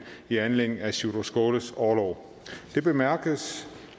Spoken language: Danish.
i anledning af sjúrður skaales orlov det bemærkes